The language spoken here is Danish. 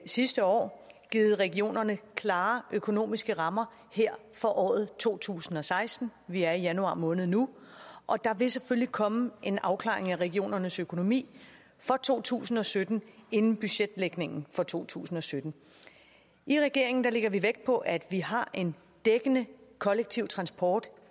sidste år givet regionerne klare økonomiske rammer her for året to tusind og seksten vi er i januar måned nu og der vil selvfølgelig komme en afklaring af regionernes økonomi for to tusind og sytten inden budgetlægningen for to tusind og sytten i regeringen lægger vi vægt på at vi har en dækkende kollektiv transport